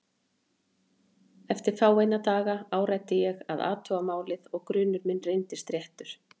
Eftir fáeina daga áræddi ég að athuga málið og grunur minn reyndist réttur.